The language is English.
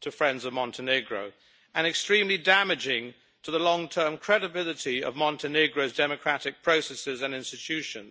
to friends of Montenegro, and extremely damaging to the long term credibility of Montenegro's democratic processes and institutions.